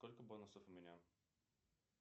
сколько бонусов у меня